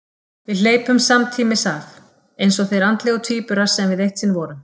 Við hleypum samtímis af, eins og þeir andlegu tvíburar sem við eitt sinn vorum.